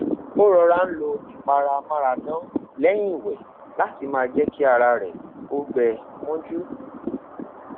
o rọra n lo ipara amaradan lẹyin iwẹ lati ma jẹ ki ara rẹ o gbẹ mọju